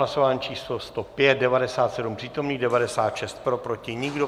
Hlasování číslo 105, 97 přítomných, 96 pro, proti nikdo.